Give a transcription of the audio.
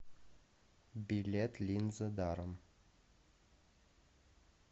билет линзы даром